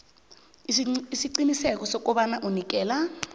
isiqiniseko sokobana unikela